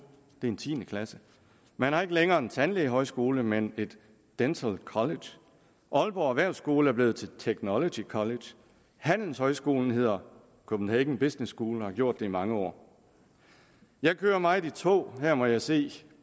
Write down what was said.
det er en tiende klasse man har ikke længere en tandlægehøjskole men et dental college aalborg erhvervsskole er blevet til technology college handelshøjskolen hedder copenhagen business school og har gjort det i mange år jeg kører meget i tog og her må jeg se